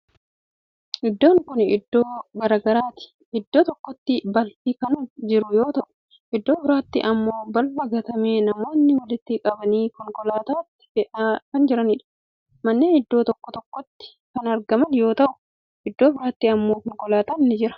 Iddoon kuni iddoo garagaraati. Iddoo tokkotti balfi kan jiru yoo ta'u, iddoo biraatti immoo balfa gatame namootni walitti qabanii konkolaatatti fe'aa kan jiraniidha. Manneen iddoo tokko tokkotti kan argaman yoo ta'u, iddoo biraatti immoo konkolaatan ni jira.